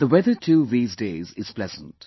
The weather too these days is pleasant